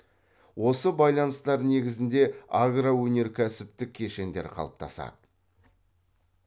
осы байланыстар негізінде агроөнеркәсіптік кешендер қалыптасады